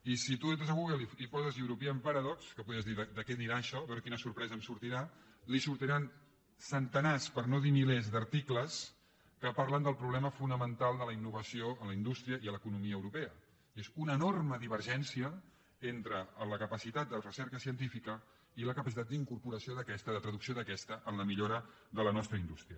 i si tu entres a google i hi poses european paradox que podries dir de què anirà això a veure quina sorpresa em sortirà sortiran centenars per no dir milers d’articles que parlen del problema fonamental de la innovació en la indústria i a l’economia europea i és una enorme divergència entre la capacitat de recerca científica i la capacitat d’incorporació d’aquesta de traducció d’aquesta en la millora de la nostra indústria